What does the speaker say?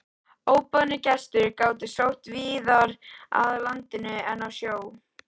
Óboðnir gestir gátu sótt víðar að landinu en á sjó.